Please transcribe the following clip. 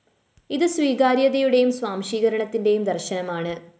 ഇത് സ്വീകാര്യതയുടെയും സ്വാംശീകരണത്തിന്റെയും ദര്‍ശനമാണ്